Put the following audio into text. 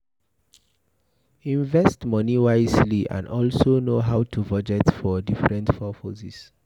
Invest money wisely and also know how to budget for different purposes